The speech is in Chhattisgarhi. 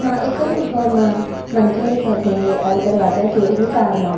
एमा एको दु ठो मा मनखे दिखत हे अउ दरवाजा के उहु पार मा--